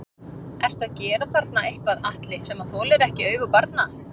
Ertu að gera þarna eitthvað Atli sem að þolir ekki augu barna?